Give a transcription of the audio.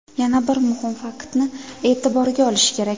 Yana bir muhim faktni e’tiborga olish kerak.